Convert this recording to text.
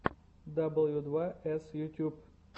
дабл ю два эс ютьюб